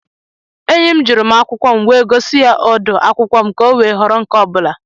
Enyi m jụrụ m akwụkwọ m nwé gosi ya odu akwụkwọ m ka o wee họrọ nke ọ bụla